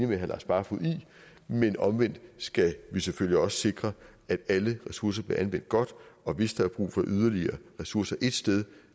med herre lars barfoed i men omvendt skal vi selvfølgelig også sikre at alle ressourcer bliver anvendt godt og hvis der er brug for yderligere ressourcer ét sted